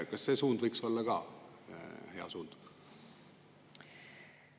Kas see suund võiks olla hea suund?